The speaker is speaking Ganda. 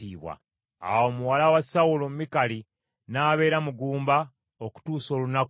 Awo muwala wa Sawulo Mikali, n’abeera mugumba okutuusa olunaku lwe yafa.